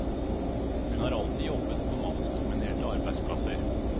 Hun har alltid jobbet på mannsdominerte arbeidsplasser.